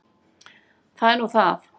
Það er nú það.